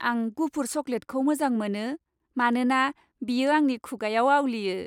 आं गुफुर चकलेटखौ मोजां मोनो मानोना बेयो आंनि खुगाआव आवलियो।